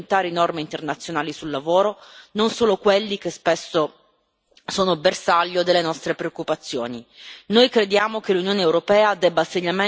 Sono molti infatti i paesi che violano le più elementari norme internazionali sul lavoro, non solo quelli che spesso sono bersaglio delle nostre preoccupazioni.